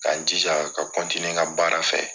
K' n jija ka n ka baara fɛ